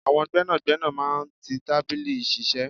Àwọn gbẹ́nàgbẹ́nà máa ń tí tábìlì iṣiṣẹ.